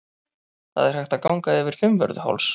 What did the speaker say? Það er hægt að ganga yfir Fimmvörðuháls.